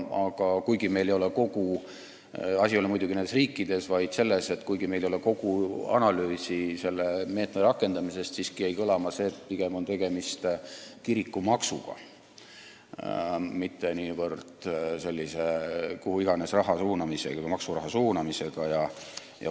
Asi ei ole muidugi nendes riikides, vaid selles, et kuigi meil ei ole kogu analüüsi selle meetme rakendamise kohta, jäi siiski kõlama, et pigem on tegemist kirikumaksuga, mitte niivõrd kuhu iganes maksuraha suunamisega.